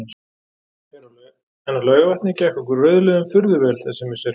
En á Laugarvatni gekk okkur rauðliðum furðu vel þessi misserin.